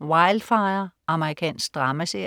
Wildfire. Amerikansk dramaserie